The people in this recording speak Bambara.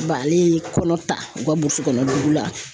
Ba ale ye kɔnɔ ta u ka burusi kɔnɔ dugu la